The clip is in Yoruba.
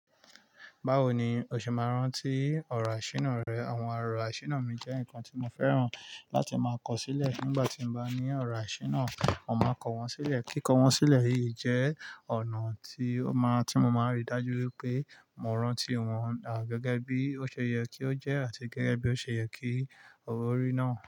Báwo ni o ṣe máa rán tí ọ̀rọ̀ àṣìínà rẹ? Àwọn ọrọ̀ àṣìínà mi jẹ́ nǹkan tí mo fẹ́ràn láti máa kọ̀ sílẹ̀ nígbà tí mo bá ní ọ̀rọ̀ àṣìínà, mo máa kọ̀ wọ́n sílẹ̀. Kíkọ́ wọ́n sílẹ̀ yìí jẹ́ ọ̀nà tí ó máa, tí mo máa rí i dájú wípé mo rántí ìwọ̀n àgẹ́gẹ́ bí ó ṣe yẹ kí ó jẹ́ àti gẹ́gẹ́ bí ó ṣe yẹ kí oo orí náà.